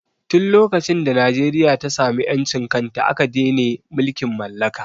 Tin lokacin da Najeriya ta samu ƴancin kanta aka dene mulkin mallaka